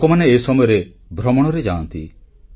ଲୋକମାନେ ଏ ସମୟରେ ଭ୍ରମଣରେ ଯାଆନ୍ତି